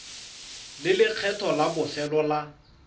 le lekgetho la bofelo la